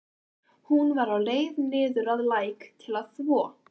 Hún var á leið niður að læk til að þvo.